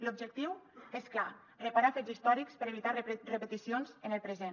l’objectiu és clar reparar fets històrics per evitar repeticions en el present